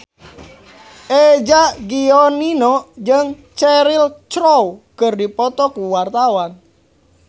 Eza Gionino jeung Cheryl Crow keur dipoto ku wartawan